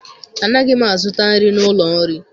Anaghị m azụta nri n'ụlọ nri